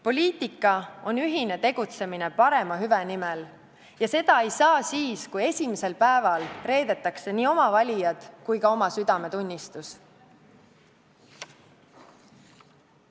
Poliitika on ühine tegutsemine parema hüve nimel ja seda ei saa siis, kui esimesel päeval reedetakse nii oma valijad kui ka oma südametunnistus.